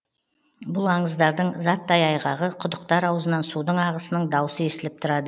бұл аңыздардың заттай айғағы құдықтар аузынан судың ағысының даусы естіліп тұрады